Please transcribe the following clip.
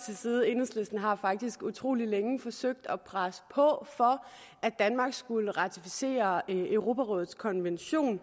til side enhedslisten har faktisk utrolig længe forsøgt at presse på for at danmark skulle ratificere europarådets konvention